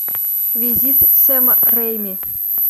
визит сэма рэйми